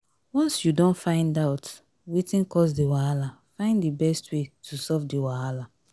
once you don find out wetin cause di wahala find di best wey to solve the wahala